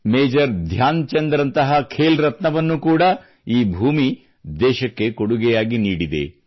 major Dhyan Chand ರಂತಹ ಖೇಲ್ ರತ್ನವನ್ನೂ ಕೂಡಾ ಈ ಭೂಮಿ ದೇಶಕ್ಕೆ ಕೊಡುಗೆಯಾಗಿ ನೀಡಿದೆ